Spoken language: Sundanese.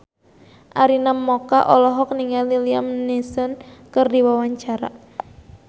Arina Mocca olohok ningali Liam Neeson keur diwawancara